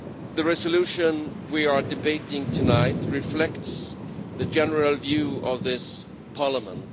The resolution we are debating tonight reflects the general view of this Parliament.